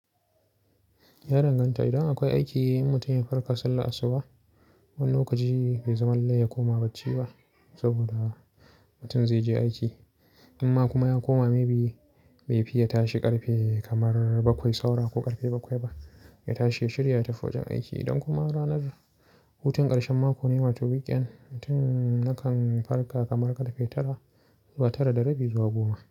Ya danganta. Idan akwai aiki, in mutum ya farka sallah asuba. Wani lokaci bai zama lallai ya koma bacci ba saboda mutum zai je aiki. Amma kuma ya koma, maybe bai fi ya tashi ƙarfe kamar bakwai saura ko ƙarfe bakwai ba. Ya tashi ya shirya ya tafi wajen aiki. Idan kuma ranar hutu, ƙarshen mako ne, wato weekend, mutum ya kan farka kamar karfe tara zuwa tara da rabi zuwa goma.